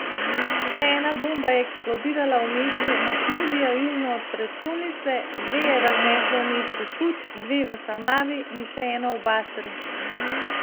Še ena bomba je eksplodirala v mestu Mahmudija južno od prestolnice, dve je razneslo v mestu Kut, dve v Samavi in še eno v Basri.